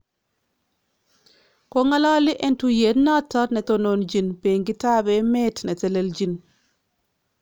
Kongalali en tuyeet noton netonochin beenkitab emeet netelelchin